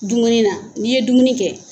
Dumuni na n'i ye dumuni kɛ.